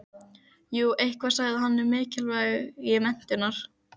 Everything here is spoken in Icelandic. Jú eitthvað sagði hann um mikilvægi menntunar.